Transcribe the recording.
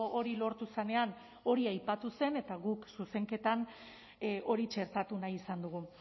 hori lortu zenean hori aipatu zen eta guk zuzenketan hori txertatu nahi izan dugu